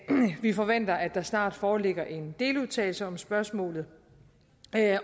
vi forventer at der snart foreligger en deludtalelse om spørgsmålet